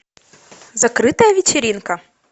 закрытая вечеринка